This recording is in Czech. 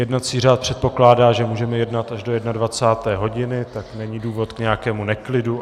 Jednací řád předpokládá, že můžeme jednat až do 21. hodiny, tak není důvod k nějakému neklidu.